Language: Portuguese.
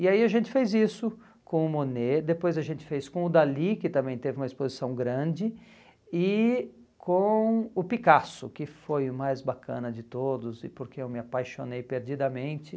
E aí a gente fez isso com o Monet, depois a gente fez com o Dalí, que também teve uma exposição grande, e com o Picasso, que foi o mais bacana de todos e porque eu me apaixonei perdidamente.